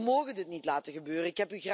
We mogen dit niet laten gebeuren.